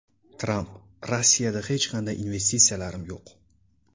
Tramp: Rossiyada hech qanday investitsiyalarim yo‘q.